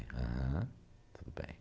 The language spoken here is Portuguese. aham, tudo bem.